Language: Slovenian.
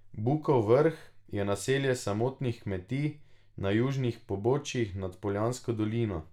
Bukov Vrh je naselje samotnih kmetij na južnih pobočjih nad Poljansko dolino.